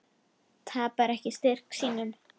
Tapar ekki styrk sínum.